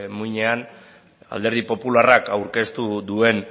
muinean alderdi popularrak aurkeztu duen